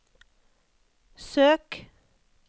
søk